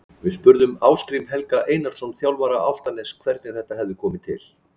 Við spurðum Ásgrím Helga Einarsson, þjálfara Álftaness, hvernig þetta hefði komið til.